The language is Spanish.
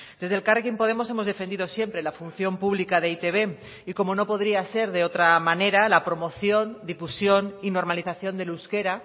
desde elkarrekin podemos hemos defendido siempre la función pública de e i te be y como no podría ser de otra manera la promoción difusión y normalización del euskera